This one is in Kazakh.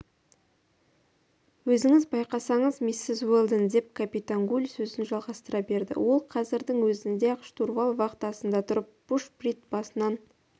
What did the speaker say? өзіңіз байқасаңыз миссис уэлдон деп капитан гуль сөзін жалғастыра берді ол кәзірдің өзінде-ақ штурвал вахтасында тұрып бушприт басынан